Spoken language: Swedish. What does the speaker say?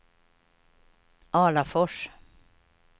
Alafors